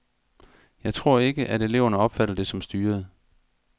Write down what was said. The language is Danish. Jeg tror ikke, at eleverne opfatter det som styret.